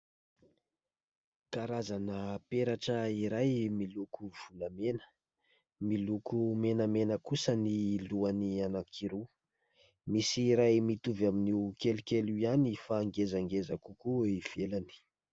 Karazana peratra iray miloko volamena, miloko menamena kosa ny lohany anakiroa, misy iray mitovy amin'io kelikely io ihany fa ngezangeza kokoa eo ivelany.